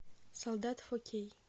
солдат фо кей